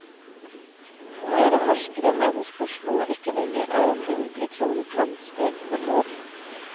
Flere forskere mener spørsmålet ikke lenger er om det vil bli klonet mennesker, men når.